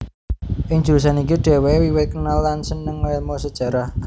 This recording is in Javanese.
Ing jurusan iki dhèwèké wiwit kenal lan sênêng ngélmu Sejarah